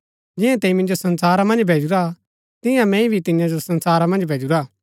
जिंआ तैंई मिन्जो संसारा मन्ज भैजूरा तियां मैंई भी तियां जो संसारा मन्ज भैजुरा